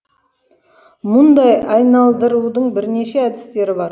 мұндай айналдырудың бірнеше әдістері бар